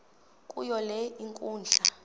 kuyo le nkundla